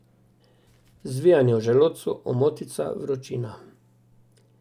Zvijanje v želodcu, omotica, vročina.